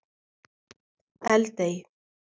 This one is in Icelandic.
Eldey